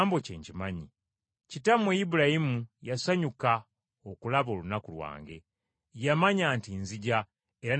Kitammwe Ibulayimu yasanyuka okulaba olunaku lwange. Yamanya nti nzija era ne kimusanyusa.”